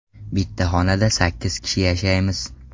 Bitta xonada sakkiz kishi yashaymiz.